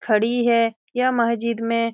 खड़ी है यह महजिद में --